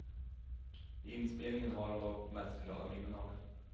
Inspelningen har hon dock mest glada minnen av.